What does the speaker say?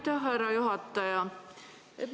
Aitäh, härra juhataja!